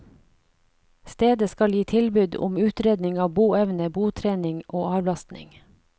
Stedet skal gi tilbud om utredning av boevne, botrening og avlastning.